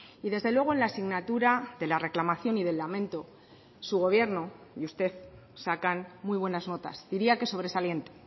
y desde luego en la asignatura de la reclamación y del lamento su gobierno y usted sacan muy buenas notas diría que sobresaliente